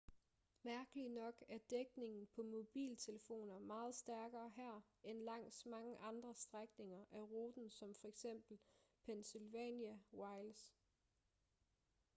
mærkeligt nok er dækningen på mobiltelefoner meget stærkere her end langs mange andre strækninger af ruten som f.eks pennsylvania wilds